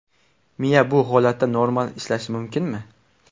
Miya bu holatda normal ishlashi mumkinmi?